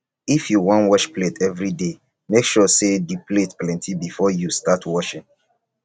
if yu wan wash plate evriday mek sure say di plates plenti bifor yu start washing